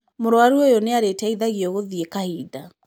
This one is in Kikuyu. Mũrũaru oyũ nĩ arĩ teithagio gũthiĩ kahinda.